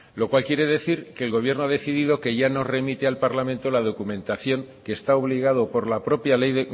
lo cual quiere decir que el gobierno ha decidido que ya no remite al parlamento la documentación que está obligado por la propia ley